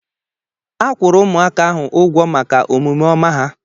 A kwụrụ ụmụaka ahụ ụgwọ maka omume ọma ha